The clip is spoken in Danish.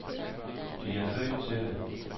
De er født til det.